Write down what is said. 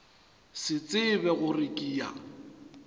se tsebe gore ke ya